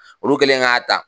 Olu kɛlen k'a ta